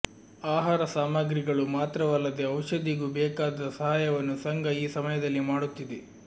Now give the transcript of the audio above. ಆಹಾರ ಸಾಮಾಗ್ರಿಗಳು ಮಾತ್ರವಲ್ಲದೆ ಔಷದಿಗೂ ಬೇಕಾದ ಸಹಾಯವನ್ನು ಸಂಘ ಈ ಸಮಯದಲ್ಲಿ ಮಾಡುತ್ತಿದೆ